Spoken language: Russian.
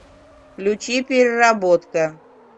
включи переработка